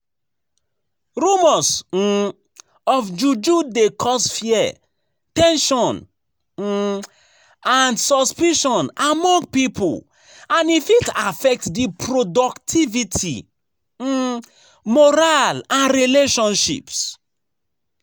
Rumors um of juju dey cause fear, ten sion um and suspicion among people, and e fit affect di productivity, um morale and relationships.